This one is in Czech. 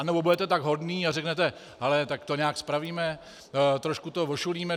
Anebo budete tak hodní a řeknete: Hele, tak to nějak spravíme, trošku to ošulíme.